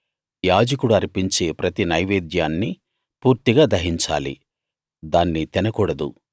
యాజకుడు అర్పించే ప్రతి నైవేద్యాన్నూ పూర్తిగా దహించాలి దాన్ని తినకూడదు